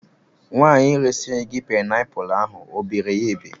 Nwaanyị resịrị gị paịnapụlụ ahụ o bere ya ebe?